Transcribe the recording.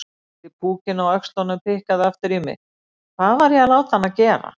Litli púkinn á öxlunum pikkaði aftur í mig: Hvað var ég að láta hana gera?